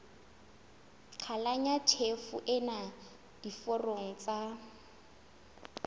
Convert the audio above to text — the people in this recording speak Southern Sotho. qhalanya tjhefo ena diforong tsa